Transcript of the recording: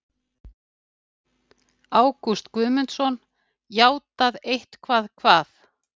Ágúst Guðmundsson: Játað eitthvað hvað?